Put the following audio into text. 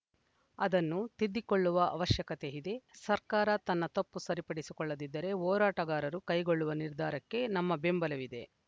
ಅದನ್ನು ತಿದ್ದಿಕೊಳ್ಳುವ ಅವಶ್ಯಕತೆ ಇದೆ ಸರ್ಕಾರ ತನ್ನ ತಪ್ಪು ಸರಿಪಡಿಸಿಕೊಳ್ಳದಿದ್ದರೆ ಹೋರಾಟಗಾರರು ಕೈಗೊಳ್ಳುವ ನಿರ್ಧಾರಕ್ಕೆ ನಮ್ಮ ಬೆಂಬಲವಿದೆ